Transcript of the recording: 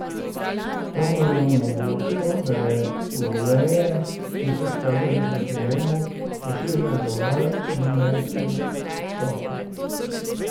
To mu je omogočilo, da je v veje, ki so štrlele proti nebu, pošiljal dovolj življenjskega soka.